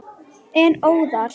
En óðal.